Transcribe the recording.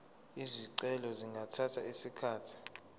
izicelo zingathatha isikhathi